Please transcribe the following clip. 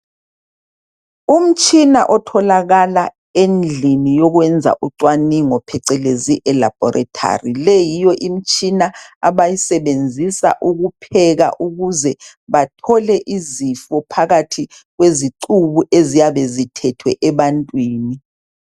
Umtshina otholakala endlini yokwenza ucwaningo phecelezi ilabhorethari, leyi yiyo imtshina abayisebenzisa ukupheka ukuze bathole izifo phakathi kwezicubu eziyabe zithethwe ebantwini.